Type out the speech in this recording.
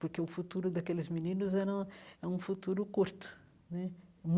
Porque o futuro daqueles meninos era era um futuro curto né um